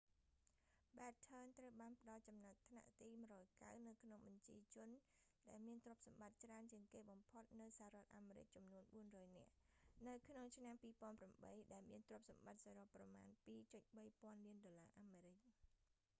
batten ត្រូវបានផ្ដល់ចំណាត់ថ្នាក់ទី190 នៅក្នុងបញ្ជីជនដែលមានទ្រព្យសម្បត្តិច្រើនជាងគេបំផុតនៅសហរដ្ឋអាមេរិកចំនួន 400 នាក់ នៅក្នុងឆ្នាំ 2008 ដែលមានទ្រព្យសម្បត្តិសរុបប្រមាណ 2.3 ពាន់លានដុល្លារអាមេរិក